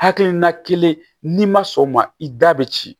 Hakilina kelen n'i ma sɔn o ma i da bɛ ci